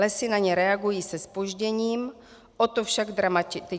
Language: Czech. Lesy na ně reagují se zpožděním, o to však dramatičtěji.